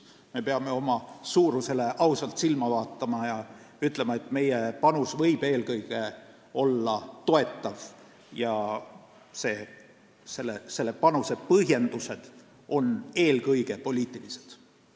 Me peame oma suurusele ausalt silma vaatama ja ütlema, et meie panus võib eelkõige olla toetav ja selle panuse põhjendused on eelkõige poliitilised.